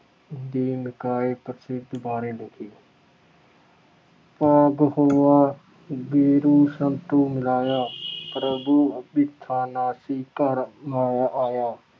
ਦੇ ਬਾਰੇ ਲਿਖੀ। ਭਾਗੁ ਹੋਆ ਗੁਰਿ ਸੰਤੁ ਮਿਲਾਇਆ ॥ ਪ੍ਰਭੁ ਅਬਿਨਾਸੀ ਘਰ ਮਹਿ ਪਾਇਆ ॥